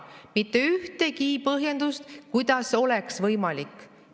Mitte ühtegi põhjendust, kuidas oleks võimalik.